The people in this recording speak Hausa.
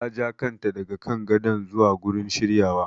Ta ja kanta daga kan gadon zuwa gurin shiryawa.